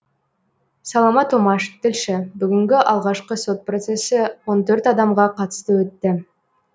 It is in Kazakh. саламат омаш тілші бүгінгі алғашқы сот процессі он төрт адамға қатысты өтті